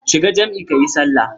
Shiga jam'i kayi sallah.